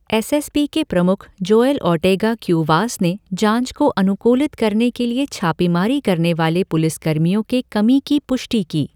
S S P के प्रमुख Joel Ortega Cuevas ने जाँच को अनुकूलित करने के लिए छापेमारी करने वाले पुलिसकर्मियों के कमी की पुष्टि की।